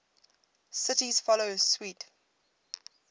cities follow suit